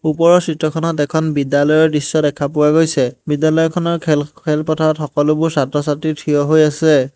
ওপৰৰ চিত্ৰখনত এখন বিদ্যালয়ৰ দৃশ্য দেখা পোৱা গৈছে বিদ্যালয়খনৰ খেল খেলপথাৰত সকলোবোৰ ছাত্ৰ ছাত্ৰী থিয় হৈ আছে।